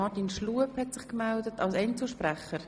Gibt es weitere Einzelsprecher?